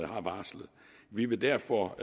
har varslet vi vil derfor